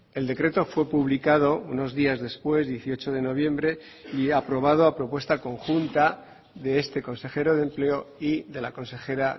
el decreto fue publicado unos días después dieciocho de noviembre y aprobado a propuesta conjunta de este consejero de empleo y de la consejera